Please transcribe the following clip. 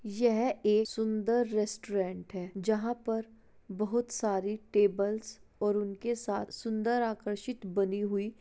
यह एक सुन्दर रेस्टोरेंट है जहाँ पर बहुत सारी टेबल्स और उनके साथ सुन्दर आकर्षित बनी हुई --